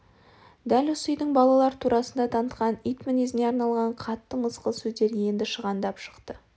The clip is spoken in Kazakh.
дәл осы үйдің балалар турасында танытқан ит мінезіне арналған қатты мысқыл сөздер еңді шығандап шықты